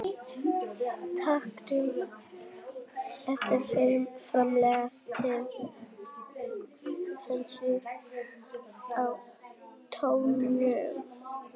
Tannkrem eru framleidd til hreinsunar á tönnum.